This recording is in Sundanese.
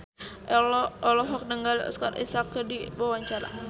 Ello olohok ningali Oscar Isaac keur diwawancara